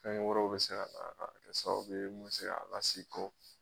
Fɛn wɛrɛw bɛ se ka kɛ sababu bɛ mun bɛ se k'a la segi kɔ